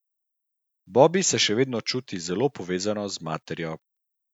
Bobbi se še vedno čuti zelo povezano z materjo.